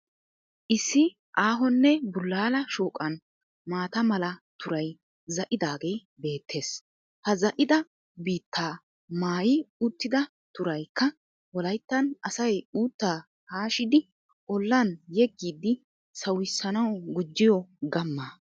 Issi aahonne bulala shooqan maata mala turay zaa'idaagee bettees. Ha zaa'idi biittaa maayi uttida turaykka wolayttan asay uuttaa hashshidi olan yegidi sawusanawu gujjiyo gamaa.